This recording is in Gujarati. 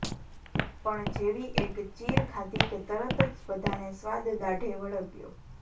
પણ જેવી એક ચીર ખાધી કે તરત જ બધાને સ્વાદ દાઢે વળગ્યો